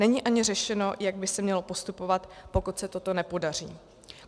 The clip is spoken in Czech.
Není ani řešeno, jak by se mělo postupovat, pokud se toto nepodaří.